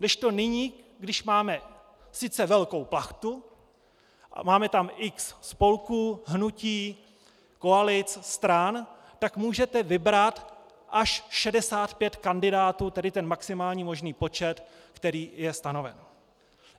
Kdežto nyní, když máme sice velkou plachtu a máme tam x spolků, hnutí, koalic, stran, tak můžete vybrat až 65 kandidátů, tedy ten maximální možný počet, který je stanoven.